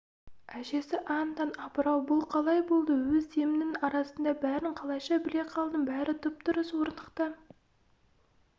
әжесі аң-таң апырау бұл қалай болды өзі демнің арасында бәрін қалайша біле қалдың бәрі дұп-дұрыс орнықты